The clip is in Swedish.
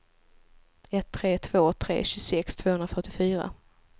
ett tre två tre tjugosex tvåhundrafyrtiofyra